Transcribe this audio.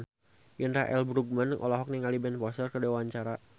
Indra L. Bruggman olohok ningali Ben Foster keur diwawancara